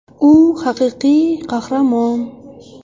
U haqiqiy qahramon”.